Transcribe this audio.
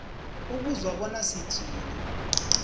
ukuzwa bona sithini